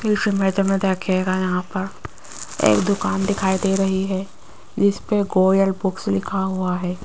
इस इमेज में देखिएगा यहां पर एक दुकान दिखाई दे रही है जिसपे गोयल बुक्स लिखा हुआ है।